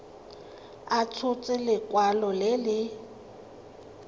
a tshotse lekwalo le le